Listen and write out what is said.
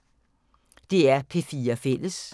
DR P4 Fælles